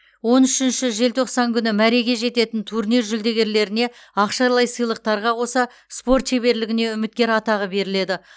он үшінші желтоқсан күні мәреге жететін турнир жүлдегерлеріне ақшалай сыйлықтарға қоса спорт шеберлігіне үміткер атағы беріледі